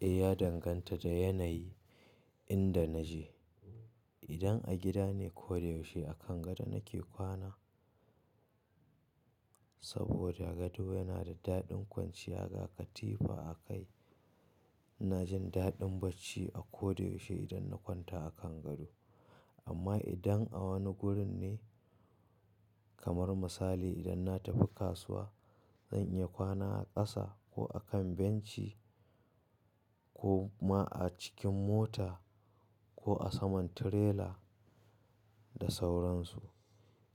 Eh, ya danganta da yanayi inda naje. Idan a gida ne ko da yaushe a kan gado nake kwana saboda gado yana da daɗin kwanciya ga katifa akai. Ina jin daɗin bacci a ko da yaushe idan na kwanta a kan gado. Amma idan a wani wurin ne kamar misali idan na tafi kasuwa, zan iya kwana a ƙasa ko a kan benci ko ma a cikin mota ko a saman tirela da sauran su.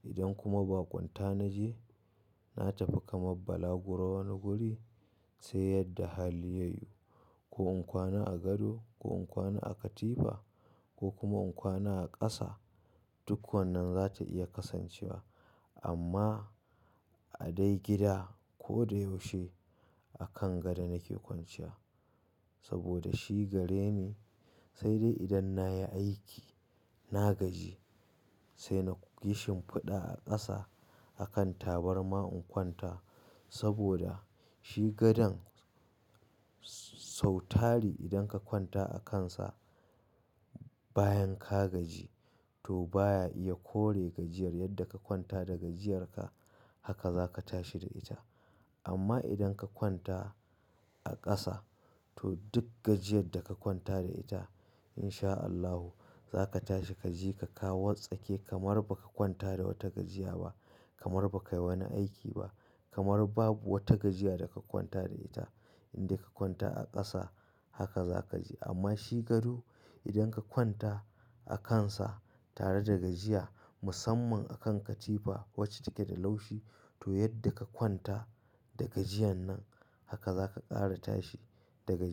Idan kuma ba kwanta naje, na tafi kamar bala gura wani guri sai yadda hali ya yi ko in kwana a gado ko in kwana a katifa ko kuma in kwana a ƙasa, duk wannan za ta iya kasancewa. Amma a dai gida ko da yaushe a kan gado nake kwanciya saboda shi gare ni sai dai idan nayi aiki, na gaji sai nayi shinfaɗa a ƙasa a kan tabarma in kwanta saboda shi gadon sau tari idan ka kwanta a kansa bayan ka gaji to baya iya kore gajiyar yadda ka kwanta da gajiyarka haka za ka tashi da ita. Amma idan ka kwanta a ƙasa to duk gajiyar da ka kwanta da ita in sha Allahu za ka tashi ka je ka ka watsake kamar baka kwanta da wata gajiya ba, kamar baka yi wani aiki ba, kamar babu wata gajiya da ka kwanta da ita. Indai ka kwanta a ƙasa haka za ka ji. Amma shi gado idan ka kwanta a kansa tare da gajiya musamman a kan katifa wacce take da laushi to yadda ka kwanta da gajiyan nan haka za ka ƙara tashi da gajiya.